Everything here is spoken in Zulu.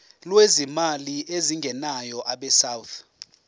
lwezimali ezingenayo abesouth